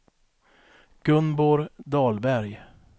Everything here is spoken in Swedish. Gunborg Dahlberg